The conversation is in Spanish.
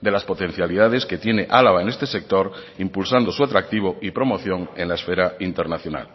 de las potencialidades que tiene álava en este sector impulsando su atractivo y promoción en la esfera internacional